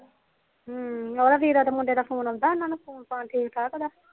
ਹਮ ਉਹਦਾ ਵੀਰੇ ਦਾ ਫੂਨ ਆਂਦਾ ਕਿਦਾ ਠੀਕ ਠਾਕ